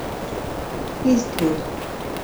иствуд